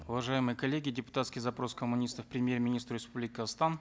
уважаемые коллеги депутатский запрос коммунистов к премьер министру республики казахстан